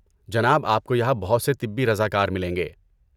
جناب، آپ کو یہاں بہت سے طبی رضاکار ملیں گے۔